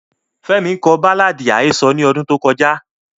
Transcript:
Femi ko baláàdi ahesọ ni ọdun to kọja.